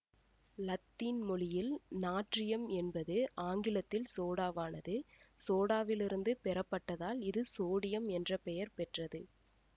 இலத்தீன் மொழியில் நாட்ரியம் என்பது ஆங்கிலத்தில் சோடாவானது சோடாவிலிருந்து பெற பட்டதால் இது சோடியம் என்ற பெயர் பெற்றது